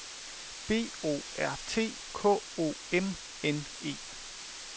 B O R T K O M N E